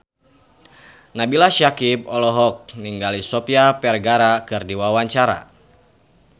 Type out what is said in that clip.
Nabila Syakieb olohok ningali Sofia Vergara keur diwawancara